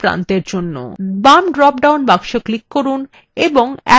বাম drop down box click করুন এবং arrow নির্বাচন করুন